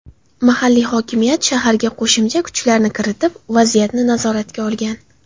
Mahalliy hokimiyat shaharga qo‘shimcha kuchlarni kiritib, vaziyatni nazoratga olgan.